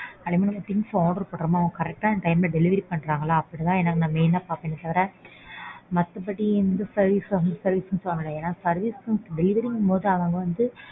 அதுமில்லாம things order பண்றோமோ correct ஆன time ல delivery பண்றாங்களா அத தான் நான் main ஆ பார்ப்பேன் தவிர மத்தபடி இந்த service அந்த service லாம் கிடையாது. எனக்கு service delivery ங்கும்போது அவங்க வந்து.